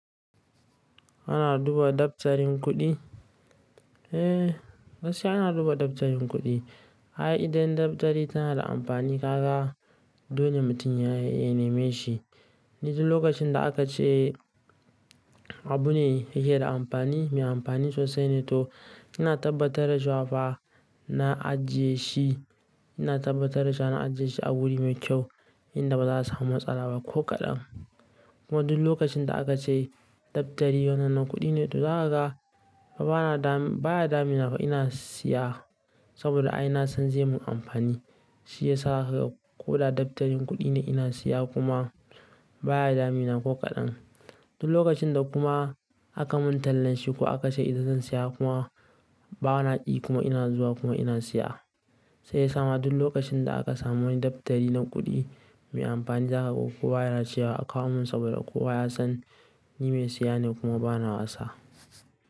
Ana duba dabtarin kuɗi? Eh, gaskiya ana duba dabtarin kuɗi. Ai idan dabtari tana da amfani kaga, dole mutum ya nemi shi. Ni duk lokacin da aka ce abu ne yake da amfani, mai amfani sosai ne to ina tabbatar da cewafa, na ajiye shi, Ina tabbatar da cewa na ajiye shi a wuri mai kyau inda ba za'a samu matsala ba ko kaɗan. Kuma duk lokacin da aka ce dabtari wannan na kuɗi ne to, zaka ga ba na dam, baya damina fa ina siya saboda ai na san zai mun amfani. Shi ya sa haka ko da dabtarin kuɗi ne ina siya kuma baya damina ko kaɗan. Duk lokacin da kuma aka mun tallan shi ko aka ce ita zan siya kuma ba na ƙi kuma ina zuwa kuma ina siya. Sai ya sa ma duk lokacin da aka samu wani dabtari na kuɗi mai amfani zakaga kowa yana cewa akawo mun saboda kowa ya san ni mai siya ne kuma ba na wasa.